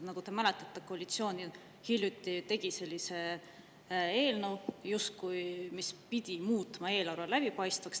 Nagu te mäletate, koalitsioon ju hiljuti tegi sellise eelnõu, mis pidi justkui muutma eelarve läbipaistvaks.